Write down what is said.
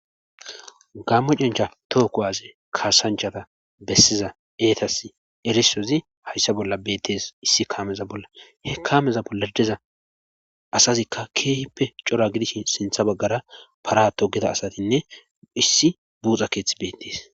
gammo cencha tookko aze kaasanchata bessiza eetas erisozi hayssa bolla beettees issi kaameza bolla he kaameza bolladeza asazikka keehippe cora gidish sintha baggara para togida asatinne issi buuxa keeththi beettees